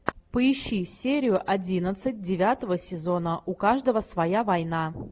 поищи серию одиннадцать девятого сезона у каждого своя война